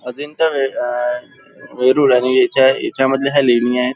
अजिंठा वे अ वेरूळ आणि याच्या याच्या मधल्या ह्या लेणी आहेत.